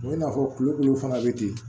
I n'a fɔ kulo dɔw fana bɛ ten